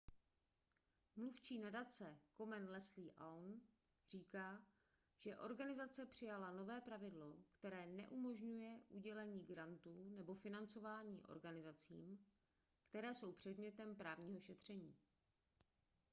mluvčí nadace komen leslie aun říká že organizace přijala nové pravidlo které neumožňuje udělení grantů nebo financování organizacím které jsou předmětem právního šetření